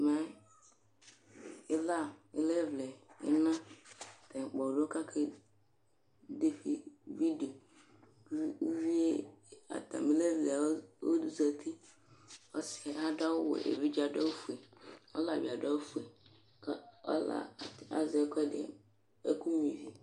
ɛmɛ ila ilevle ina atani kpɔdò k'ake de vidio ko uvie atami levle ozati ɔsiɛ ado awu wɛ evidze ado awu fue ɔlaɛ bi ado awu fue ko ɔla azɛ ɛkuɛdi ɛkò nyua ivi